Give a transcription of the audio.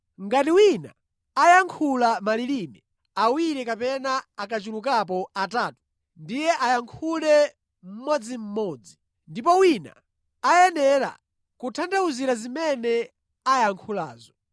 Ngati wina ayankhula malilime, awiri kapena akachulukapo atatu ndiye ayankhule mmodzimmodzi, ndipo wina ayenera kutanthauzira zimene ayankhulazo.